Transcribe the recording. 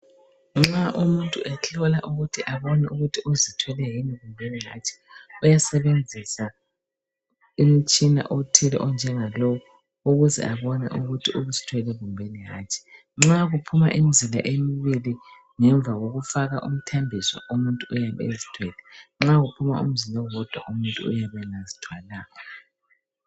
Nxa umuntu ehlola ukuthi abone ukuba uzithwele yini kumbeni hatshi uyasebenzisa umtshina othile onjengalo ukuze abone ukuthi uzithwele kumbeni hatshi. Nxa kuphuma imizila emibili ngemva kokufaka umthambiso umuntu uyabe ezithwele, nxa kuphuma umzila owodwa umuntu uyabe engazithwalanga.